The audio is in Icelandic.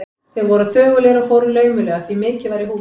Þeir voru þögulir og fóru laumulega, því mikið var í húfi.